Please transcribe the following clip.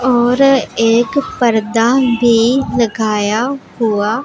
और एक पर्दा भी लगाया हुआ--